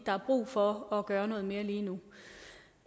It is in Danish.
der er brug for at gøre noget mere lige nu